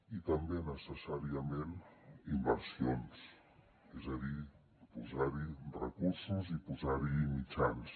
i també necessàriament inversions és a dir posar hi recursos i posar hi mitjans